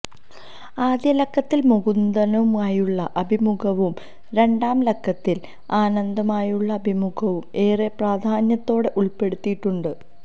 ആദ്യലക്കത്തിൽ മുകുന്ദനുമായുളള അഭിമുഖവും രണ്ടാം ലക്കത്തിൽ ആനന്ദുമായുളള അഭിമുഖവും ഏറെ പ്രാധാന്യത്തോടെ ഉൾപ്പെടുത്തിയിട്ടുണ്ട്